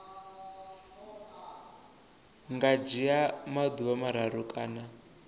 nga dzhia maḓuvha mararu kana